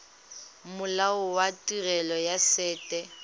molao wa tirelo ya set